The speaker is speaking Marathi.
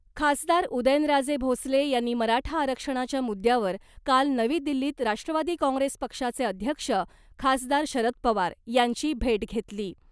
खासदार उदयनराजे भोसले यांनी मराठा आरक्षणाच्या मुद्यावर काल नवी दिल्लीत राष्ट्रवादी काँग्रेस पक्षाचे अध्यक्ष खासदार शरद पवार यांची भेट घेतली .